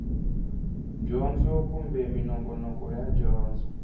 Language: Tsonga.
dyondzo kumbe minongonoko ya dyondzo